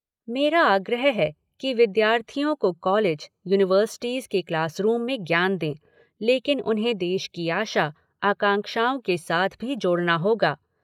मेरा आग्रह है कि विद्यार्थियों को कॉलेज, यूनिवर्सिटीज़ के क्लासरूम में ज्ञान दें, लेकिन उन्हें देश की आशा, आकांक्षाओं के साथ भी जोड़ना होगा।